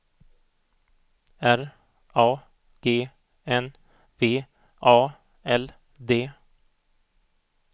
R A G N V A L D